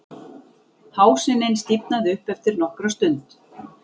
Hásinin stífnaði upp eftir nokkra stund